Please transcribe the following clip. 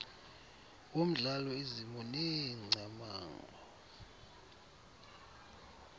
womdlalo izimo neengcamango